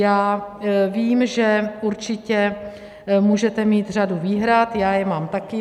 Já vím, že určitě můžete mít řadu výhrad, já je mám také.